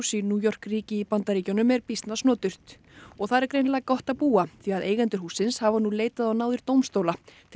í New York ríki í Bandaríkjunum er býsna snoturt og þar er greinilega gott að búa því að eigendur hússins hafa nú leitað á náðir dómstóla til